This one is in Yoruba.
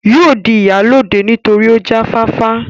yóò jẹ ìyálóde nítorí ó jáfáfá